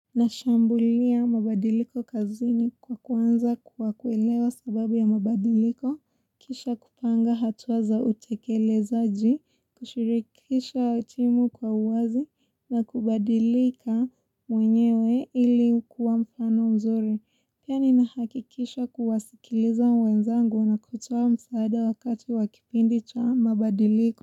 Nashambulia mabadiliko kazini kwa kuanza kwa kuelewa sababu ya mabadiliko, kisha kupanga hatua za utekelezaji, kushirikisha timu kwa uwazi, na kubadilika mwenyewe ili kuwa mfano mzuri. Pia ni nahakikisha kuwasikiliza wenzangu na kutoa msaada wakati wa kipindi cha mabadiliko.